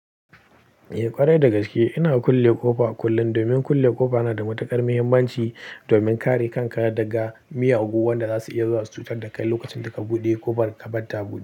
Eh kwarai da gaske ina kulle ƙofa kullum, domin kulle ƙofa yana da matuƙar muhimmanci domin kare kanka daga miyagu, wanda zasu iya zuwa su cutar da kai lokacin da ka buɗe ƙofar ka barta a buɗe.